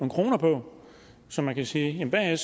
kroner på så man kan sige hvad